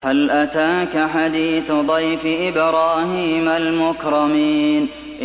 هَلْ أَتَاكَ حَدِيثُ ضَيْفِ إِبْرَاهِيمَ الْمُكْرَمِينَ